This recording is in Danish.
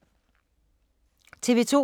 TV 2